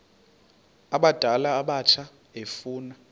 abadala abatsha efuna